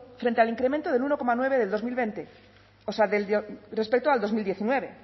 frente al incremento del uno coma nueve del dos mil veinte o sea del de respecto al dos mil diecinueve